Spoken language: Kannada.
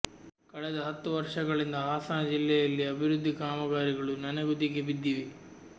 ಕಳೆದ ಹತ್ತು ವರ್ಷಗಳಿಂದ ಹಾಸನ ಜಿಲ್ಲೆಯಲ್ಲಿ ಅಭಿವೃದ್ಧಿ ಕಾಮಗಾರಿಗಳು ನನೆಗುದಿಗೆ ಬಿದ್ದಿವೆ